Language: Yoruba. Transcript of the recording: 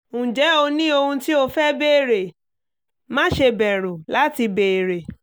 ǹjẹ́ o ní ohun tí o fẹ́ béèrè? má ṣe bẹ̀rù láti béèrè